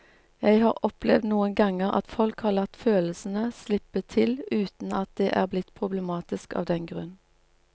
Jeg har opplevd noen ganger at folk har latt følelsene slippe til uten at det er blitt problematisk av den grunn.